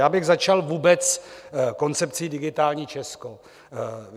Já bych začal vůbec koncepcí Digitální Česko.